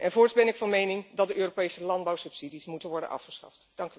Voorts ben ik van mening dat de Europese landbouwsubsidies moeten worden afgeschaft.